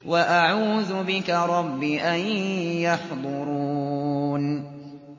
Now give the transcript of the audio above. وَأَعُوذُ بِكَ رَبِّ أَن يَحْضُرُونِ